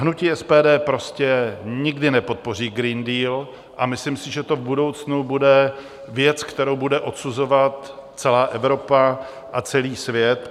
Hnutí SPD prostě nikdy nepodpoří Green Deal a myslím si, že to v budoucnu bude věc, kterou bude odsuzovat celá Evropa a celý svět.